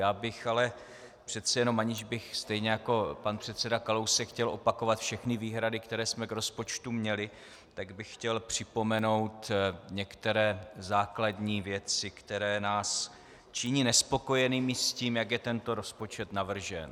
Já bych ale přece jenom, aniž bych stejně jako pan předseda Kalousek chtěl opakovat všechny výhrady, které jsme k rozpočtu měli, tak bych chtěl připomenout některé základní věci, které nás činí nespokojenými s tím, jak je tento rozpočet navržen.